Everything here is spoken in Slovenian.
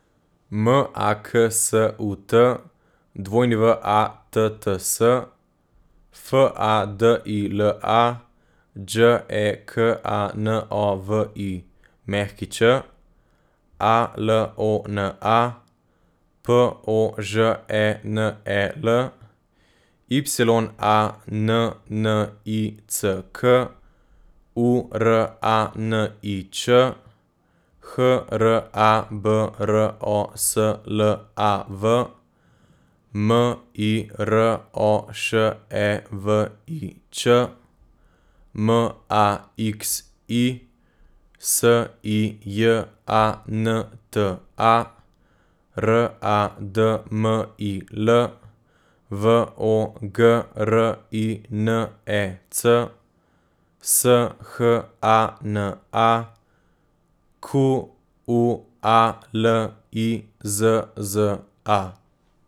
M A K S U T, W A T T S; F A D I L A, Đ E K A N O V I Ć; A L O N A, P O Ž E N E L; Y A N N I C K, U R A N I Č; H R A B R O S L A V, M I R O Š E V I Č; M A X I, S I J A N T A; R A D M I L, V O G R I N E C; S H A N A, Q U A L I Z Z A.